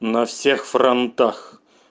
на всех фронтах